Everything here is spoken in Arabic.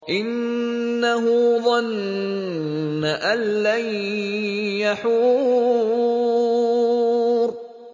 إِنَّهُ ظَنَّ أَن لَّن يَحُورَ